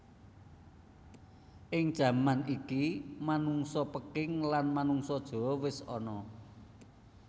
Ing jaman iki manungsa Peking lan manungsa Jawa wis ana